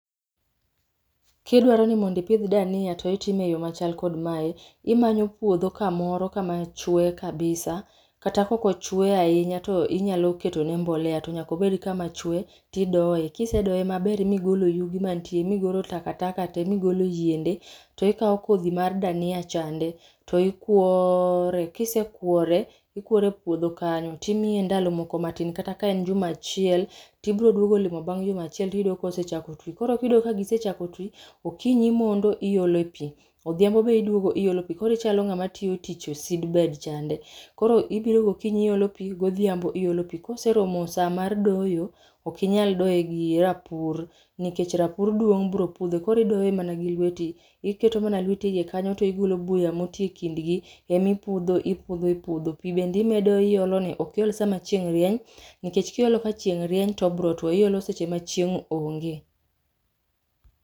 Kidwaro nimondipidh dania to itime yo machal kod mae, imanyo puodho kamoro kama chwe kabisa. Kata kokochwe ahinya to inyalo ketone mbolea to nyakobed kama chwe, tidoe. Kisedoe maber migolo yugi mantie migolo takataka te migolo yiende, to ikawo kodhi mar dania chande. To ikwooore, kisekwore, ikwore puodho kanyo timiye ndalo moko matin kata ka en juma achiel. Tibro duogo limo bang' juma achiel tiyodo ka gisechako ti, koro kidowogo ka gisechako ti, okinyi imondo ilo pi, odhiambo be iduogo iolo pi. Korichalo ng'ama tiyo tich seedbed chande. Koro ibiro gokinyi iolo pi godhiambo iolo pi. Koseromo sa mar doyo, okinyal doye gi rapur nikech rapur duong' bro pudhe. Koridoye mana gi lweti, iketo mana lweti e iye kanyo to igolo buya moti e kindgi. Emipudho ipudho ipudho, pi bendi medo iolo ne. Okiol sama chieng' rieny, nikech kiolo ka chieng' rieny tobro two, iolo seche ma chieng' onge.